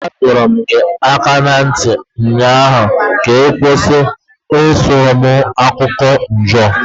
Adọọrọ m gị aka na ntị ụnyaahụ ka ị kwụsị ịsuru m okwu Ijaw